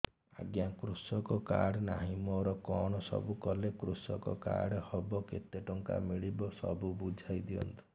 ଆଜ୍ଞା କୃଷକ କାର୍ଡ ନାହିଁ ମୋର କଣ ସବୁ କଲେ କୃଷକ କାର୍ଡ ହବ କେତେ ଟଙ୍କା ମିଳିବ ସବୁ ବୁଝାଇଦିଅନ୍ତୁ